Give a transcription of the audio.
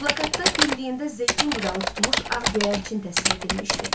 Plakatda dimdiyində zeytun budağı tutmuş ağ göyərçin təsvir edilmişdi.